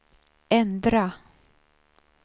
ändra